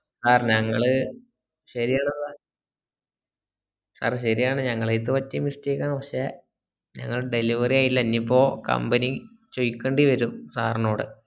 sir ഞങ്ങള് ശരിയാണ് sir ശരിയാണ് ഞങ്ങളടത് പറ്റിയ mistake ആണ് പക്ഷെ delivery യായില്ല ഇനിപ്പോ company ചോയ്ക്കണ്ടിവരും sir നോട്